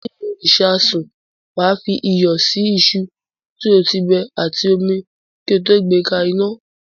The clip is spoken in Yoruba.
Nínú ìṣasùn, wà á fi iyọ̀ sí iṣu tí o ti bẹ àti omi kí o tó gbé ka iná.